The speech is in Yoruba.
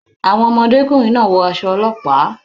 Àwọn ọmọdékùnrin náà wọ aṣọ ọlọ́pàá.